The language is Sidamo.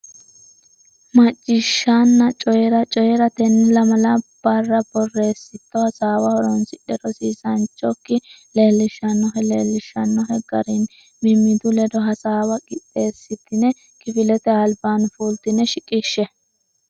Macciishshanna Coyi ra Coyi ra Tenne lamala barra borreessitto hasaawa horonsidhe rosiisaanchi okki leellishshannohe leellishshannohe garinni mimmitu ledo hasaawa qixxeessitine kifilete albaanni fultine shiqishshe.